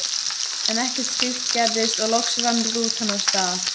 En ekkert slíkt gerðist og loks rann rútan af stað.